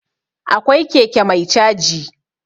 Akwai keke mai caji.